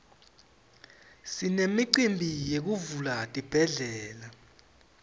sinemicimbi yekuvula tibhedlela